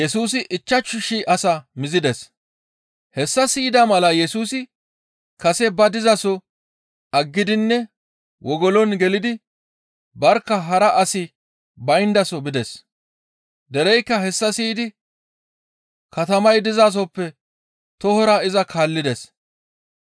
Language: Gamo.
Hessa siyida mala Yesusi kase ba dizaso aggidinne wogolon gelidi barkka hara asi bayndaso bides. Dereykka hessa siyidi katamay dizasoppe tohora iza kaallides.